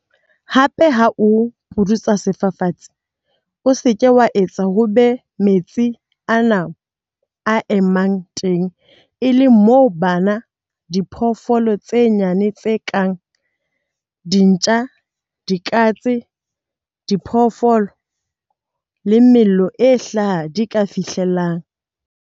Hape, ha o pudutsa sefafatsi, o se ke wa etsa hore ho be moo metsi ana a emang teng e leng moo bana, diphoofolo tse nyane tse kang dintja, dikatse, diphoofolo le mello e hlaha di ka fihlellang.